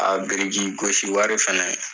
Aa biriki gosi wari fɛnɛ